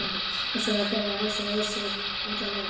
Og svo var byrjað að ausa og ausið alla leiðina.